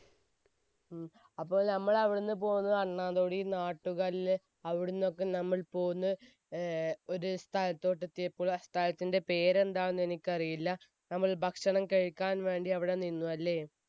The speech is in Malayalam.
ഹും അപ്പോൾ നമ്മൾ അവിടെ നിന്നും പോന്ന് അണ്ണാൻതോടി, നാട്ടുകല്ല് അവിടുന്നൊക്കെ നമ്മൾ പോന്ന് ഏർ ഒരു സ്ഥലത്ത് എത്തിയപ്പോൾ ആ സ്ഥലത്തിന്റെ പേര് എന്താണെന്ന് എനിക്കറിയില്ല, നമ്മൾ ഭക്ഷണം കഴിക്കാൻ വേണ്ടി അവിടെ നിന്നു അല്ലേ?